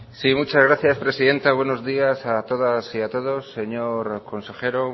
sí muchas gracias presidenta buenos días a todas y a todos señor consejero